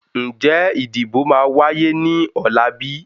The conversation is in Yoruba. Ń jẹ́ ìdìbò máa wáyé ní ọ̀la bíi?